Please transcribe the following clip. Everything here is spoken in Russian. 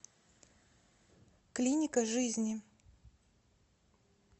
клиника жизни